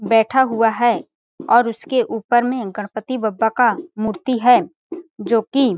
बैठा हुआ है और उसके ऊपर में गणपति बब्बा का मूर्ति है जोकि --